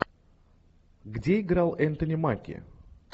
где играл энтони маки